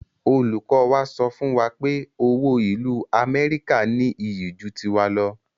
Olùkọ wa sọ fún wa pé owó ìlú amẹ́ríkà ní iyì ju tiwa lọ